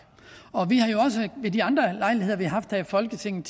vi de andre lejligheder vi haft her i folketinget